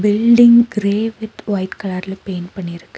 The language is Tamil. பில்டிங் கிரே வித் ஒயிட் கலர்ல பெயிண்ட் பண்ணி இருக்கு.